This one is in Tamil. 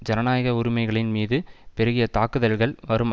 ஜனநாயக உரிமைகளின் மீது பெருகிய தாக்குதல்கள் வரும்